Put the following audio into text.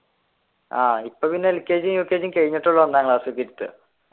ആഹ് ഇപ്പോ പിന്നെ lkg ukg കഴിഞ്ഞിട്ടുള്ളൂ ഒന്നാം ക്ലാസ്സിലേക്ക് ഇരുത്തുക